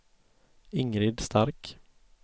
Ingrid Stark